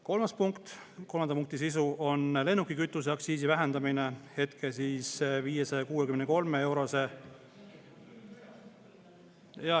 Kolmas punkt, kolmanda punkti sisu on lennukikütuseaktsiisi vähendamine hetke 563-eurose …